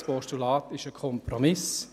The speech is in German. Das Postulat ist ein Kompromiss.